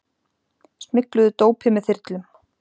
Smygluðu dópi með þyrlum